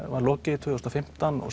var lokið tvö þúsund og fimmtán og